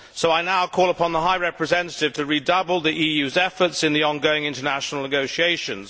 I now call upon the High Representative to redouble the EU's efforts in the ongoing international negotiations.